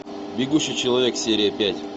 бегущий человек серия пять